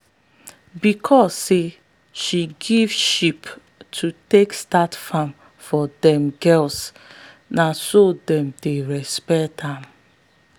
because say she give sheep to take start farm for them girls na so them dey respect am.